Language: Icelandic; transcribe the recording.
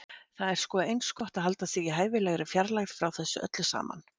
Það er sko eins gott að halda sig í hæfilegri fjarlægð frá þessu öllu saman.